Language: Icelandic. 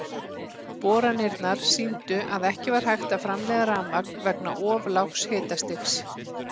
Boranirnar sýndu að ekki var hægt að framleiða rafmagn vegna of lágs hitastigs.